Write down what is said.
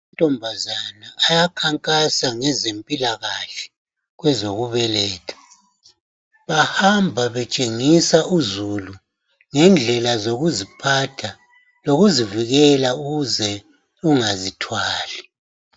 Amantombazane ayakhankasa ngezempilakahle kwezokubeletha. Bahamba betshengisa uzulu ngendlela zokuziphatha lokuzivikela ukuze ungazithwali.